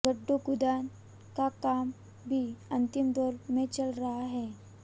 गड्ढा खुदान का काम भी अंतिम दौर में चल रहा है